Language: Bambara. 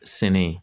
Sɛnɛ